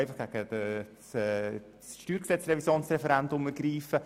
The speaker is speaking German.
Man kann einfach gegen die StG-Revision das Referendum ergreifen.